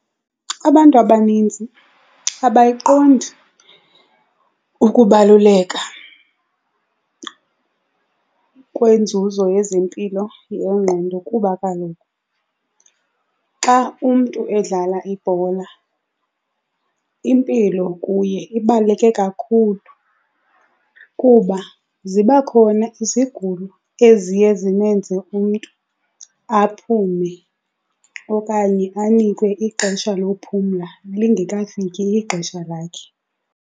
Abantu abaninzi abayiqondi ukubaluleka kwenzuzo yezempilo yengqondo kuba kaloku xa umntu edlala ibhola impilo kuye ibaluleke kakhulu. Kuba ziba khona izigulo eziye zimenze umntu aphume okanye anikwe ixesha lophumla lingekafiki ixesha lakhe.